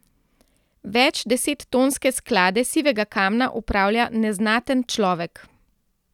Večdesettonske sklade sivega kamna upravlja neznaten človek.